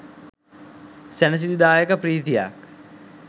සැනසිලිදායක ප්‍රීතියක්.